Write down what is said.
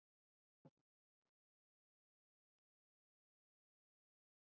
Aðrar borgir eru öllu minni.